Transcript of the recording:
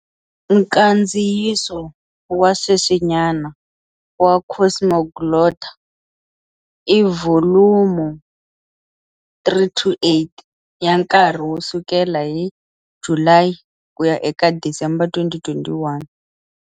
Nkandziyiso wa sweswinyana wa Cosmoglotta i vholumo 328, ya nkarhi wo sukela hi July ku ya eka December 2021.